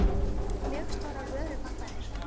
mjög stórar vörupantanir.